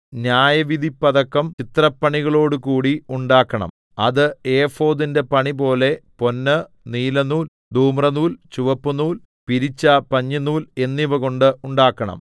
ന്യായവിധിപ്പതക്കം ചിത്രപ്പണികളോടുകൂടി ഉണ്ടാക്കണം അത് ഏഫോദിന്റെ പണിപോലെ പൊന്ന് നീലനൂൽ ധൂമ്രനൂൽ ചുവപ്പുനൂൽ പിരിച്ച പഞ്ഞിനൂൽ എന്നിവകൊണ്ട് ഉണ്ടാക്കണം